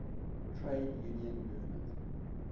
trade union movement